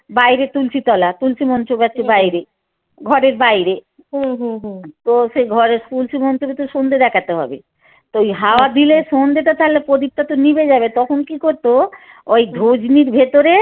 বাহরে তুলসি তলা তুলসি মঞ্চ গাড়ছি বাইরে ঘরের বাইরে তো সেই ঘরে তুলসি মঞ্চ কিন্তু সন্ধ্যে হবে তো ওই হাওয়া দিলে সন্ধ্যে টা তালে পদীপটা তো নিভে যাবে তখন কী করত ওই ধুজনির ভেতরে